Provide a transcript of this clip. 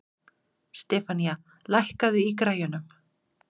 Stefanía, lækkaðu í græjunum.